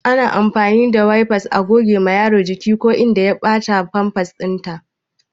Ana amfani da Wayfa a gogewa Yaro jiki ko inda ya bata Famfas din sa